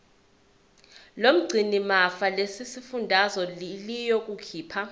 lomgcinimafa lesifundazwe liyokhipha